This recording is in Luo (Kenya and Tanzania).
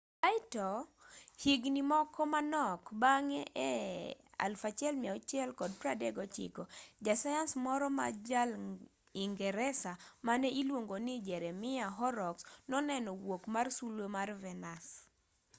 kaeto higni moko manok bang'e e 1639 jasayans moro ma jaingresa mane iluongo ni jeremiah horrocks noneno wuok mar sulwe mar venus